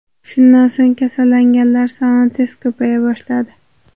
Shundan so‘ng kasallanganlar soni tez ko‘paya boshladi.